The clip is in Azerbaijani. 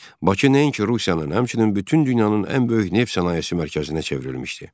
Bakı nəinki Rusiyanın, həmçinin bütün dünyanın ən böyük neft sənayesi mərkəzinə çevrilmişdi.